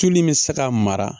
Tulu min bɛ se ka mara